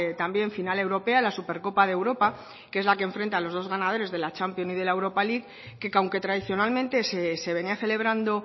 también final europea la supercopa de europa que es la que enfrenta a los dos ganadores de la champions y de la europa league que aunque tradicionalmente se venía celebrando